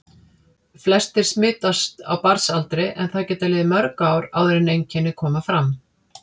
Flestir smitast á barnsaldri en það geta liðið mörg ár áður en einkenni koma fram.